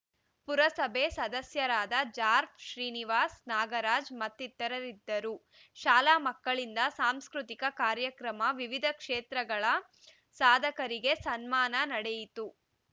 ಪುರಸಭೆ ಸದಸ್ಯರಾದ ಜಾರ್ಫ್ ಶ್ರೀನಿವಾಸ್‌ ನಾಗರಾಜ್‌ ಮತ್ತಿತರರಿದ್ದರು ಶಾಲಾ ಮಕ್ಕಳಿಂದ ಸಾಂಸ್ಕೃತಿಕ ಕಾರ್ಯಕ್ರಮ ವಿವಿಧ ಕ್ಷೇತ್ರಗಳ ಸಾಧಕರಿಗೆ ಸನ್ಮಾನ ನಡೆಯಿತು